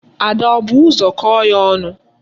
Ada o bu ụzọ kọọ ya ọnụ?